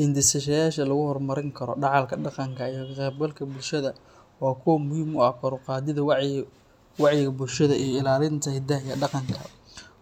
Hindisayaasha lagu horumarin karo dhaxalka dhaqanka iyo ka qaybgalka bulshada waa kuwo muhiim u ah kor u qaadidda wacyiga bulshada iyo ilaalinta hiddaha iyo dhaqanka.